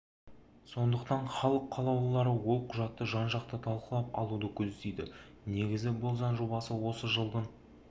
сондықтан іалық қалауылары ол құжатты жан-жақты талқылап алуды көздейді негізі бұл заң жобасын осы жылдың